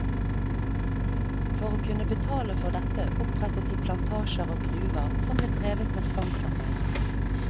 For å kunne betale for dette opprettet de plantasjer og gruver, som ble drevet med tvangsarbeid.